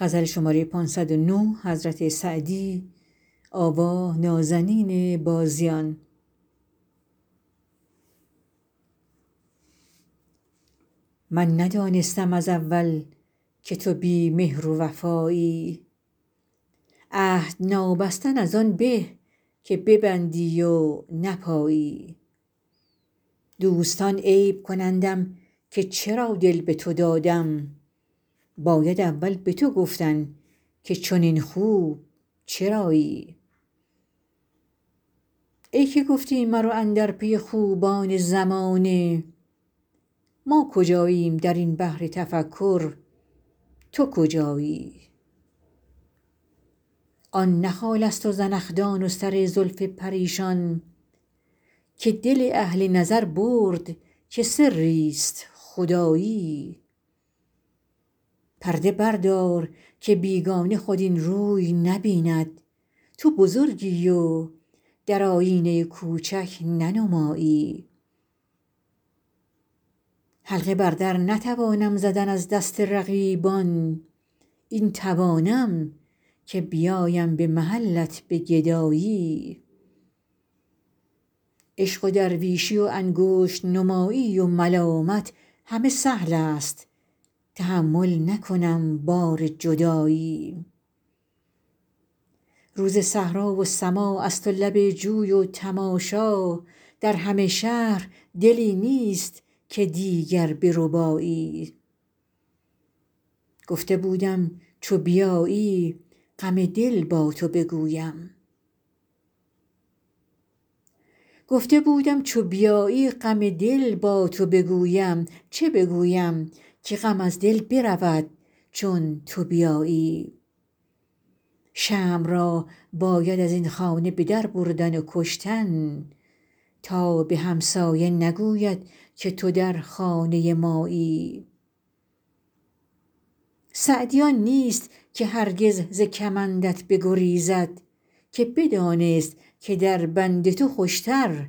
من ندانستم از اول که تو بی مهر و وفایی عهد نابستن از آن به که ببندی و نپایی دوستان عیب کنندم که چرا دل به تو دادم باید اول به تو گفتن که چنین خوب چرایی ای که گفتی مرو اندر پی خوبان زمانه ما کجاییم در این بحر تفکر تو کجایی آن نه خالست و زنخدان و سر زلف پریشان که دل اهل نظر برد که سریست خدایی پرده بردار که بیگانه خود این روی نبیند تو بزرگی و در آیینه کوچک ننمایی حلقه بر در نتوانم زدن از دست رقیبان این توانم که بیایم به محلت به گدایی عشق و درویشی و انگشت نمایی و ملامت همه سهلست تحمل نکنم بار جدایی روز صحرا و سماعست و لب جوی و تماشا در همه شهر دلی نیست که دیگر بربایی گفته بودم چو بیایی غم دل با تو بگویم چه بگویم که غم از دل برود چون تو بیایی شمع را باید از این خانه به در بردن و کشتن تا به همسایه نگوید که تو در خانه مایی سعدی آن نیست که هرگز ز کمندت بگریزد که بدانست که در بند تو خوشتر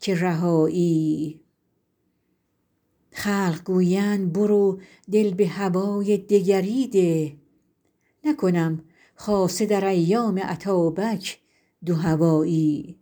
که رهایی خلق گویند برو دل به هوای دگری ده نکنم خاصه در ایام اتابک دوهوایی